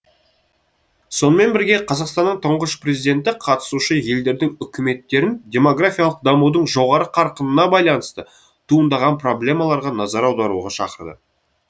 сонымен бірге қазақстанның тұңғыш президенті қатысушы елдердің үкіметтерін демографиялық дамудың жоғары қарқынына байланысты туындаған проблемаларға назар аударуға шақырды